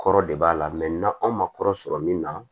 Kɔrɔ de b'a la na anw ma kɔrɔ sɔrɔ min na